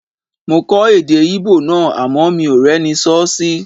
Mo kọ́ èdè Íbò náà àmọ́ mi ò rẹ́ni sọ́ sí